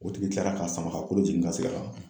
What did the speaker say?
O tigi kilara ka sama ka kolo jigin ka segin a kan!